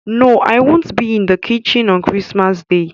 No, I won't be in the kitchen on Chrismas day